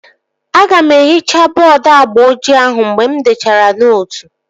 Aga m ehichaa bọọdu agba ojii ahụ mgbe m dechara nootu